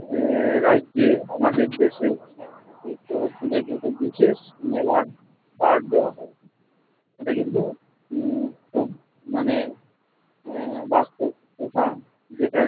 আহ রাজ্যে আমাদের দেশে এই চড়ক পূজা কে একটা বিশেষ মেলার পাঠ দেওয়া হয়। সেটা কিন্তু উম খুব মানে আহ বাস্তব কথা যেটা